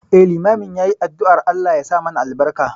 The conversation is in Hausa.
Eh, limamin yayi addu'ar Allah yasa mana albarka.